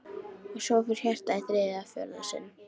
Og svo fór hjartað í þriðja og fjórða sinn.